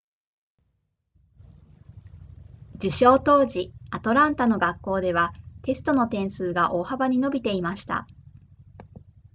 受賞当時アトランタの学校ではテストの点数が大幅に伸びていました